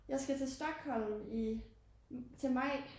Jeg skal til Stockholm i til maj